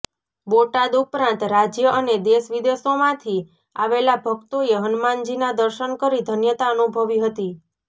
બોટાદ ઉપરાંત રાજ્ય અને દેશ વિદેશોમાંથી આવેલા ભક્તોએ હનુમાનજીના દર્શન કરી ધન્યતા અનુભવી હતી